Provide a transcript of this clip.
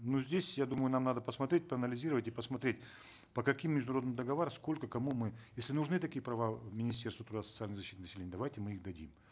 ну здесь я думаю нам надо посмотреть проанализировать и посмотреть по каким международным договорам сколько кому мы если нужны такие права министерству труда и социальной защиты населения давайте мы их дадим